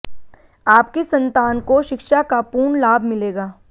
आपकी संतान को शिक्षा का पूर्ण लाभ मिलेगा